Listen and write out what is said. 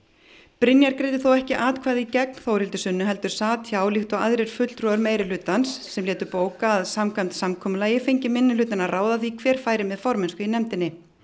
Brynjar greiddi þó ekki atkvæði gegn Þórhildi Sunnu heldur sat hjá líkt og aðrir fulltrúar meirihlutans sem lét bóka að samkvæmt samkomulagi fengi minnihlutinn að ráða því hver færi með formennsku í nefndinni